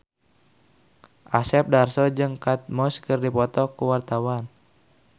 Asep Darso jeung Kate Moss keur dipoto ku wartawan